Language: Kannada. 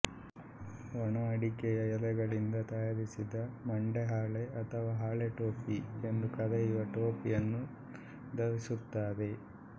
ಒಣ ಅಡಿಕೆ ಎಲೆಗಳಿಂದ ತಯಾರಿಸಿದ ಮಂಡೆ ಹಾಳೆ ಅಥವಾ ಹಾಳೆ ಟೋಪಿ ಎಂದು ಕರೆಯೂವ ಟೋಪಿಯನ್ನು ಧರಿಸುತ್ತಾರೆ